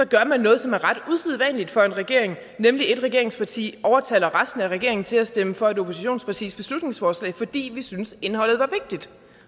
gør man noget som er ret usædvanligt for en regering nemlig at ét regeringsparti overtaler resten af regeringen til at stemme for et oppositionspartis beslutningsforslag fordi man synes at indholdet er vigtigt